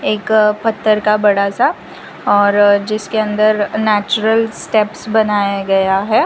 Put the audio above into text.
एक पत्तर का बड़ा सा और जिसके अंदर नेचुरल स्टेप्स बनाया गया है।